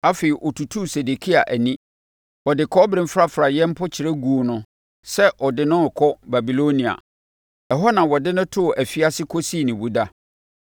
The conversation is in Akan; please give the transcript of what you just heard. Afei ɔtutuu Sedekia ani, de kɔbere mfrafraeɛ mpokyerɛ guu no sɛ ɔde no rekɔ Babilonia. Ɛhɔ na ɔde no too afiase kɔsii ne wu da.